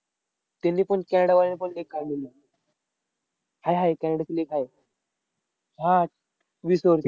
त्यांनीपण कॅनडावाल्यानी पण league काढलेली. हाय हाय, कॅनडाची league आहे. हा, वीस over ची.